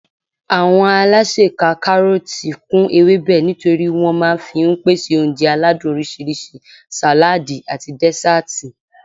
Àwọn alásè ka kárọ̀tì kún ewébẹ̀ nítorí wọn máa fi ń pèsè oúnjẹ aládùn oríṣiríṣi, sàládì àti dẹ́sàtì